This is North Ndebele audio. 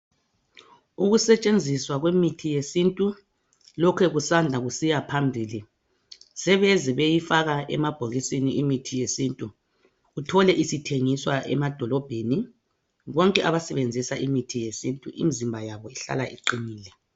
Ukusetshenziswa kwemithi yesintu lokhe kusanda kusiya phambili sebeze beyifaka emabhokisini imithi yesintu uthole isithengiswa emadolobheni bonke abasebenzisa imithi yesintu imizimba yabo ihlala iqinile